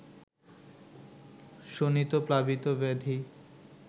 শোণিতপ্লাবিত ব্যাধি